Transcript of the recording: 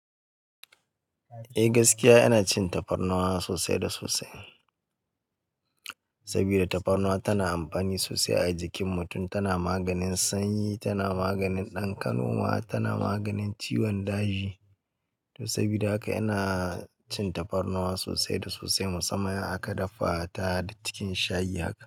Eh gaskiya ina cin tafarnuwa sosai da sosai. Saboda tafarnuwa tana amfani sosai a jikin mutum, tana maganin sanyi, tana maganin ɗan kanoma, tana maganin ciwon daji. To saboda haka ina cin tafarnuwa sosai da sosai, musamman in aka dafa ta da cikin shayi haka.